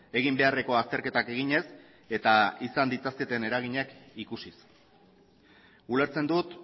egin beharreko azterketak eginez eta izan ditzaketen eraginak ikusiz ulertzen dut